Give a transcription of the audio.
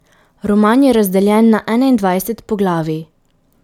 Roman je razdeljen na enaindvajset poglavij.